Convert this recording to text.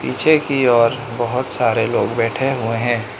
पीछे की और बहुत सारे लोग बैठे हुए हैं।